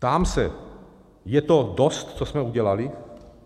Ptám se, je to dost, co jsme udělali?